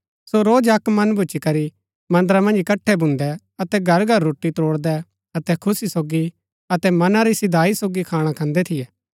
सो रोज अक्क मन भूच्ची करी मन्दरा मन्ज इकट्ठै भून्दै अतै घरघर रोटी त्रोड़दै अतै खुशी सोगी अतै मना री सीधाई सोगी खाणा खान्दै थियै